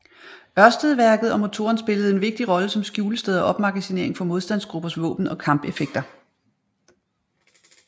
Ørstedværket og motoren en vigtig rolle som skjulested og opmagasinering for modstandsgruppers våben og kampeffekter